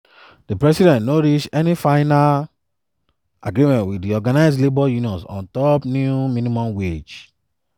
di president no reach any final agreement wit di organised labour unions on top new minimum wage.